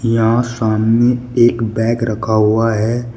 यहां सामने एक बैग रखा हुआ है।